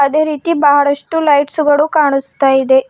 ಅದೇ ರೀತಿ ಬಹಳಷ್ಟು ಲೈಟ್ಸ್ ಗಳು ಕಾಣಸ್ತಾಯಿದೆ.